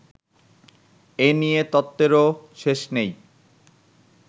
এ নিয়ে তত্ত্বেরও শেষ নেই